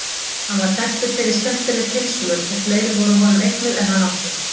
Hann var þekktur fyrir skemmtileg tilsvör og fleiri voru honum eignuð en hann átti.